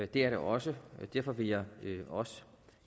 det er det også og derfor vil jeg også